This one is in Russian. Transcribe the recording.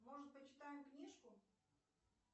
может почитаем книжку